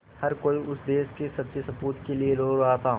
हर कोई उस देश के सच्चे सपूत के लिए रो रहा था